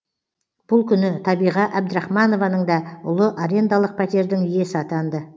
бұл күні табиға әбдірахманованың да ұлы арендалық пәтердің иесі атанды